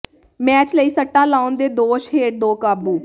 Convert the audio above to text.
match ਲਈ ਸੱਟਾ ਲਾਉਣ ਦੇ ਦੋਸ਼ ਹੇਠ ਦੋ ਕਾਬੂ